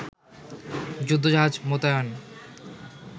যুদ্ধজাহাজ মোতায়েন